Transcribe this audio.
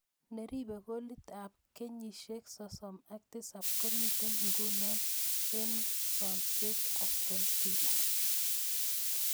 Neribe golit ab kenyisiek 37 komite nguno engsomset Aston Villa.